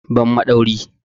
Give me screwdriver!